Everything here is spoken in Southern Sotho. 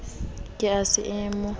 be a se a mo